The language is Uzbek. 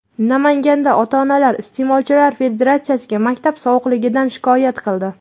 Namanganda ota-onalar Iste’molchilar federatsiyasiga maktab sovuqligidan shikoyat qildi.